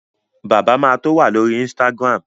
Bàbá ma tó wà lórí Instagram